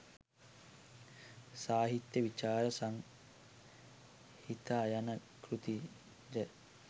සාහිත්‍ය විචාර සංහිතා යන කෘති ද